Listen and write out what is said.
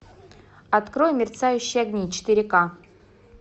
открой мерцающие огни четыре ка